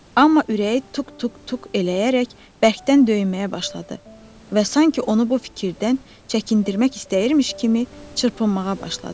Amma ürəyi tuk-tuk-tuk eləyərək bərkdən döyməyə başladı və sanki onu bu fikirdən çəkindirmək istəyirmiş kimi çırpınmağa başladı.